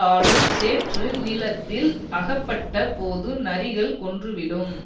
ஆழும் சேற்று நிலத்தில் அகப்பட்ட போது நரிகள் கொன்றுவிடும்